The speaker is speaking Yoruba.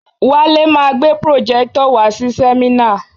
Wale ma gbé pròjẹ́tọ̀ wàá si sẹ́mínà.